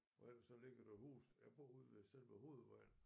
Og ellers så ligger der huse jeg bor ude ved selve hovedvejen